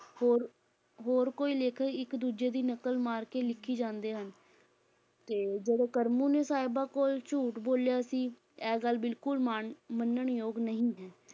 ਹੋਰ ਹੋਰ ਕੋਈ ਲੇਖਕ ਇੱਕ ਦੂਜੇ ਦੀ ਨਕਲ ਮਾਰ ਕੇ ਲਿੱਖੀ ਜਾਂਦੇ ਹਨ ਤੇ ਜਿਹੜੇ ਕਰਮੂ ਨੇ ਸਾਹਿਬਾਂ ਕੋਲ ਝੂਠ ਬੋਲਿਆ ਸੀ, ਇਹ ਗੱਲ ਬਿਲਕੁਲ ਮਾਣ~ ਮੰਨਣਯੋਗ ਨਹੀਂ ਹੈ।